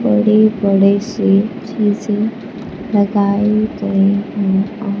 बड़े बड़े से शीशे लगाए गए हैं --